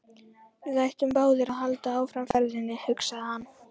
Við ættum báðir að halda áfram ferðinni, hugsaði hann.